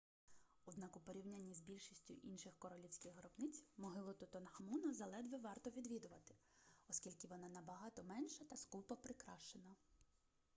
однак у порівнянні з більшістю інших королівських гробниць могилу тутанхамона заледве варто відвідувати оскільки вона набагато менша та скупо прикрашена